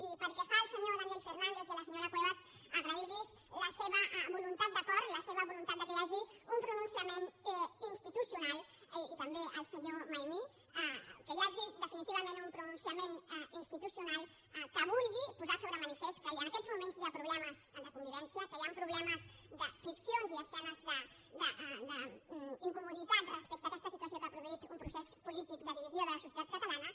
i pel que fa al senyor daniel fernández i a la senyora cuevas agrair los la seva voluntat d’acord la seva voluntat que hi hagi un pronunciament institucional i també al senyor maimí que hi hagi definiti vament un pronunciament institucional que vulgui posar de manifest que en aquests moments hi ha problemes de convivència que hi han problemes de friccions i escenes d’incomoditat respecte a aquesta situació que ha produït un procés polític de divisió de la societat catalana